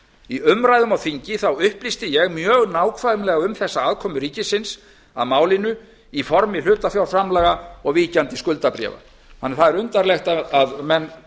í umræðum á þingi upplýsti ég mjög nákvæmlega um þessa afkomu ríkisins að málinu í formi hlutafjárframlaga og víkjandi skuldabréfa þannig að það er undarlegt að menn